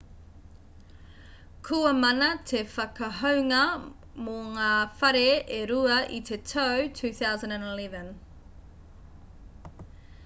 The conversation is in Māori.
kua mana te whakahounga mō ngā whare e rua i te tau 2011